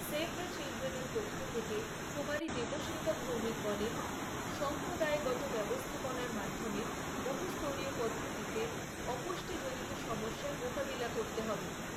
Save the চিল্ড্রেনের পক্ষ থেকে, কুমারী দেবষ্মিতা ভৌমিক বলেন, সম্প্রদায়গত ব্যবস্থাপনার মাধ্যমে, বহুস্তরীয় পদ্ধতিতে, অপুষ্টিজনিত সমস্যার মোকাবিলা করতে হবে।